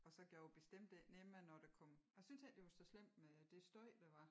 Og så gjorde bestemt ikke nemmere når der kom æ syntes ikke det var så slemt med det støj der var